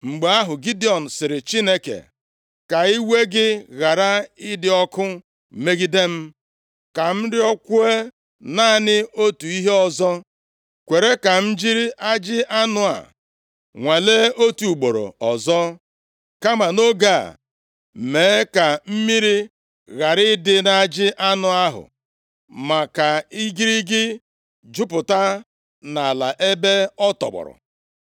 Mgbe ahụ, Gidiọn sịrị Chineke, “Ka iwe gị ghara ịdị ọkụ megide m. Ka m rịọkwuo naanị otu ihe ọzọ. Kwere ka m jiri ajị anụ a nwalee otu ugboro ọzọ, kama nʼoge a, mee ka mmiri ghara ịdị nʼajị anụ ahụ, ma ka igirigi jupụta nʼala ebe ọ tọgbọ.”